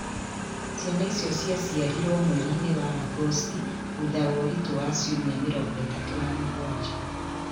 Ciana icio ciaciarirũo mweri-inĩ wa Agosti thutha wa ũritũ wa ciumia 37.